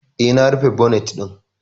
E, na rufe bonet ɗin.